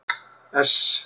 S